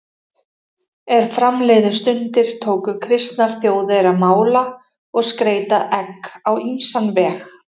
Er fram liðu stundir tóku kristnar þjóðir að mála og skreyta egg á ýmsan veg.